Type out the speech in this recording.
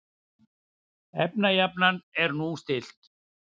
Efnajafnan er nú stillt.